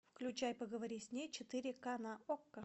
включай поговори с ней четыре ка на окко